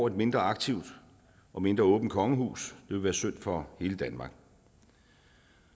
et mindre aktivt og mindre åbent kongehus ville være synd for hele danmark